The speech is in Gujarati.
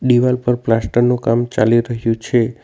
દિવાલ પર પ્લાસ્ટર નું કામ ચાલી રહ્યું છે.